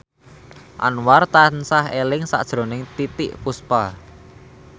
Anwar tansah eling sakjroning Titiek Puspa